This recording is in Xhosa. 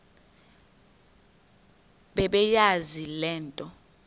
bebeyazi le nto